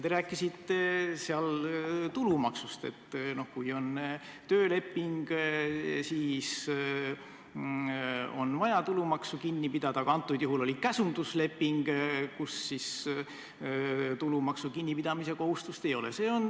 Te rääkisite tulumaksust: et kui on tööleping, siis on vaja tulumaksu kinni pidada, aga antud juhul oli käsundusleping, mille puhul tulumaksu kinnipidamise kohustust ei ole.